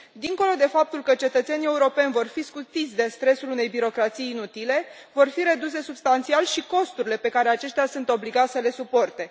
Dincolo de faptul că cetățenii europeni vor fi scutiți de stresul unei birocrații inutile, vor fi reduse substanțial și costurile pe care aceștia sunt obligați să le suporte.